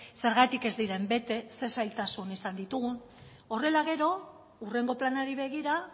zergatik ez diren bete ze zailtasun izan ditugun horrela gero hurrengo planari begira